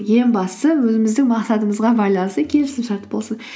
ең бастысы өзіміздің мақсатымызға байланысты келісімшарт болсын